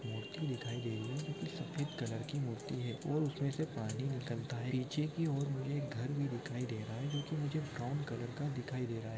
मूर्ति दिखाई दे रही है सफेद कलर की मूर्ति है और उसमे से पानी निकलता है पीछे की और मे एक घर भी दिखाई रहा है जोकी मुझे ब्राउन कलर का दिखाई दे रहा है।